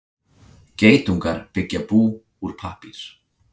Geitungar byggja bú úr pappír.